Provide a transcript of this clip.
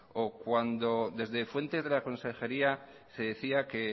o cuando desde fuentes de las consejería se decía que